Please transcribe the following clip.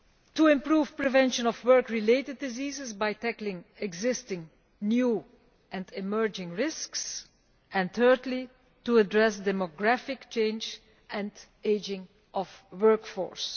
to improve prevention of work related diseases by tackling existing, new and emerging risks and thirdly, to address demographic change and the ageing of the workforce.